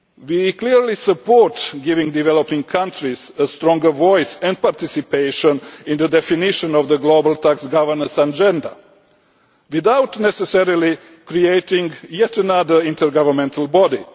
body. We clearly support giving developing countries a stronger voice and participation in the definition of the global tax governance agenda without necessarily creating yet another intergovernmental